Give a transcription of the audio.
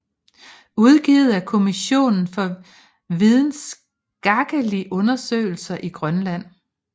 Udgivet af Kommissionen for videnskakelige Undersøgelser i Grønland